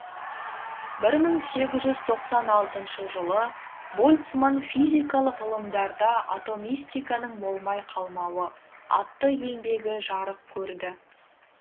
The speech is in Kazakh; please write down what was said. бір мың сегіз жүз тоқсан алтыншы жылы больцман физикалық ғылымдарда атомистиканың болмай қалмауы атты еңбегі жарық көрді